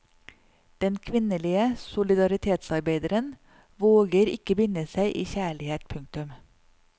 Den kvinnelige solidaritetsarbeideren våger ikke binde seg i kjærlighet. punktum